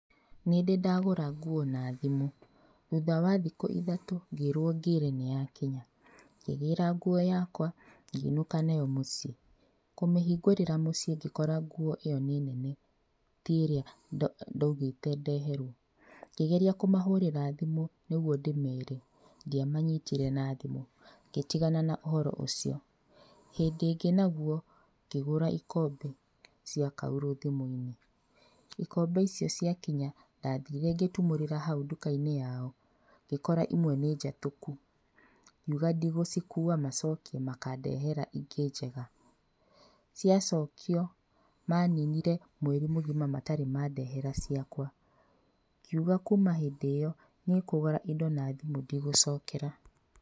Nĩndĩ ndagũra nguo na thimũ, thutha wa thikũ ithatũ ngĩrwo ngĩre nĩ yakinya. Ngĩgĩra nguo yakwa, ngĩinũka nayo mũciĩ, kũmĩhingũrĩra mũciĩ ngĩkora nguo ĩyo nĩ nene ti ĩrĩa ndaugĩte ndeherwo, ngĩgeria kũmahũrĩra thimũ nĩguo ndĩmere, ndiamanyitire na thimũ, ngĩtigana na ũhoro ũcio. Hĩndĩ ĩngĩ naguo ngĩgũra ikombe cia kaurũ thimũinĩ, ikombe icio ciakinya ndathire ngĩtumũrĩra hau ndukainĩ yao, ngĩkora imwe nĩ njatũku, ngiuga ndigũcikua macokie makandehera ingĩ njega, ciacokio maninire mweri mũgima matarĩ mandehera ciakwa, ngiuga kuuma hĩndĩ ĩyo niĩ kũgũra indo na thimũ ndigũcokera.